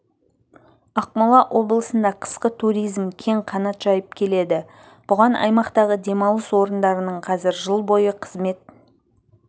ақмола облысында қысқы туризм кең қанат жайып келеді бұған аймақтағы демалыс орындарының қазір жыл бойы қызмет